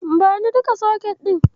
Bani duka soket ɗin.